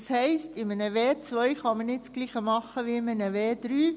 Das heisst, in einer W2 kann man nicht dasselbe machen wie in einer W3.